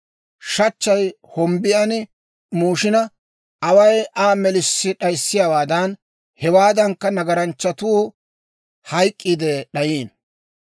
Shachchay hombbiyan muushina, away Aa melissi d'ayissiyaawaadan, hewaadankka, nagaranchchatuu hayk'k'iide d'ayiino.